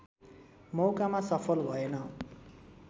मौकामा सफल भएन